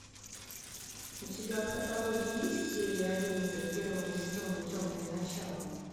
у тебя в каталоге есть серия одиннадцать первого сезона темные начала